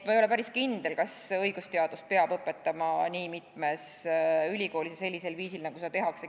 Ma ei ole päris kindel, kas õigusteadust peab õpetama nii mitmes ülikoolis ja sellisel viisil, nagu seda tehakse.